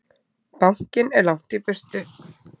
Bankinn er langt í burtu.